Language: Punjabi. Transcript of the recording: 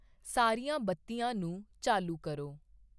ਸਾਰੀਆਂ ਬੱਤੀਆਂ ਨੂੰ ਚਾਲੂ ਕਰੋ।